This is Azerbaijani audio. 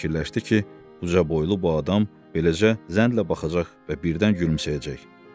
Fikirləşdi ki, ucaboylu bu adam eləcə zənnlə baxacaq və birdən gülümsəyəcək.